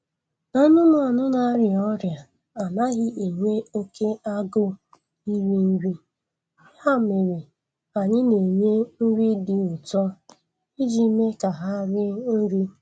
Anumanu na-arịa ọrịa anaghị enwe oke agụụ iri nri, ya mere anyị na-enye nri dị ụtọ iji mee ka ha rie nri